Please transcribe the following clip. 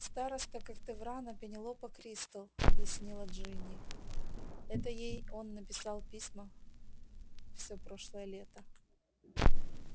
староста когтеврана пенелопа кристал объяснила джинни это ей он писал письма всё прошлое лето